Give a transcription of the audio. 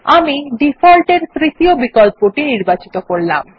আমি ডিফল্ট এর তৃতীয় বিকল্পটি নির্বাচিত করলাম